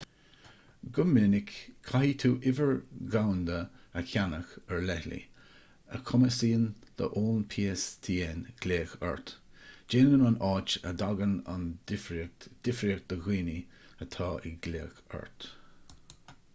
go minic caithfidh tú uimhir dhomhanda a cheannach ar leithligh a chumasaíonn d'fhóin pstn glaoch ort déanann an áit a dtagann an uimhir difríocht do dhaoine atá ag glaoch ort